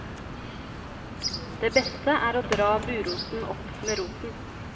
Det beste er å dra buroten opp med roten.